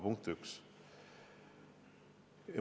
Punkt üks.